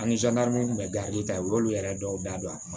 minnu tun bɛ ta u y'olu yɛrɛ dɔw da don a kɔnɔ